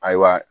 Ayiwa